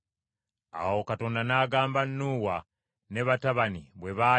Awo Katonda n’agamba Nuuwa ne batabani bwe baali